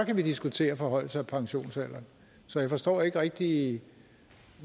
vi diskutere en forhøjelse af pensionsalderen så jeg forstår ikke rigtig